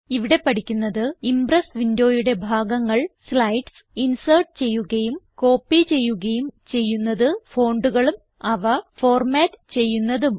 ഇവിടെ പഠിക്കുന്നത് ഇംപ്രസ് വിൻഡോയുടെ ഭാഗങ്ങൾ സ്ലൈഡ്സ് ഇൻസെർട്ട് ചെയ്യുകയും കോപ്പി ചെയ്യുകയും ചെയ്യുന്നത് fontകളും അവ ഫോർമാറ്റ് ചെയ്യുന്നതും